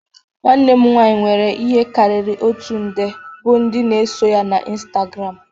Nwanne m nwanyị nwere ihe karịrị oti nde bụ ndị na-eso ya Instagram